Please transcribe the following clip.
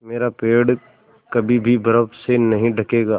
मेरा पेड़ कभी भी बर्फ़ से नहीं ढकेगा